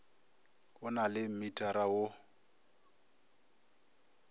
o na le mmitara wo